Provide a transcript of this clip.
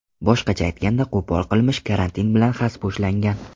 Boshqacha aytganda, qo‘pol qilmish karantin bilan xaspo‘shlangan.